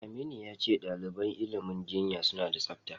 Aminu ya ce ɗaliban ilimin jinya suna da tsafta.